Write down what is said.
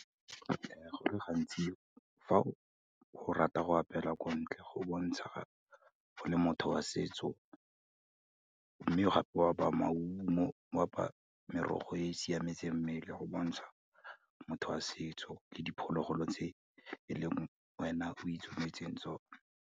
Go le gantsi fa o rata go apela kontle, go bontsha o le motho wa setso, mme gape o apaya maungo, o apaya merogo e siametseng mmele go bontsha motho a setso le diphologolo tse e leng wena o itsometseng tsona.